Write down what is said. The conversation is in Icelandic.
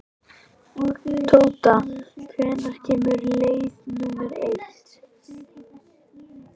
Tóta, hvenær kemur leið númer eitt?